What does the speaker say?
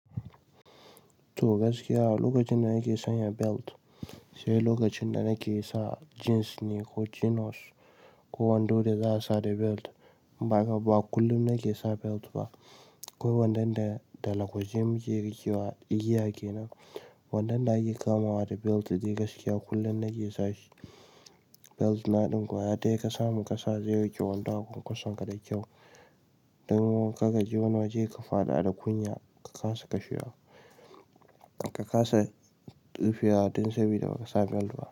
To gaskiya lokacin da nake sanya belt, sai lokacin da nake sa jeans ne ko chinos ko wando da za'a sa da belt. Ba haka ba, ba kullum nake sa belt ba. Ko wadanda da lagwaji muke rikewa igiya kenan. Wadanda ake kamawa da belt da dai gaskiya kullum nake sa shi. Belt na ɗin kwaya daya ka samu ƙasa, zai rike wando a kwankwason ka da kyau. Don kar kaji wani waje ka faɗa da kunya, ka kasa kashewa, ka kasa rufewa don sabida baka sa belt ba.